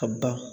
Ka ban